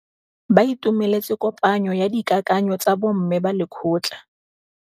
Ba itumeletse kôpanyo ya dikakanyô tsa bo mme ba lekgotla.